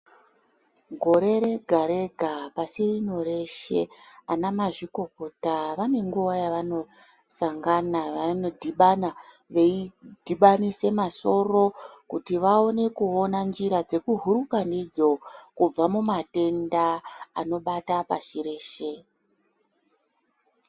Gore rega rega pashi rino reshe, ana mazvikokota, vane nguva yavanosangana , vanodhibana veidhibanisa masoro kuti vaone kuona njira dzekuhuka ndidzo kubva mumatenda anobata pashi reshe.